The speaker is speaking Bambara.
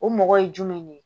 O mɔgɔ ye jumɛn ne ye